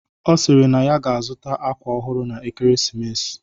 Ọ sịrị na ya ga-azụta akwa ọhụrụ na ekeresimesi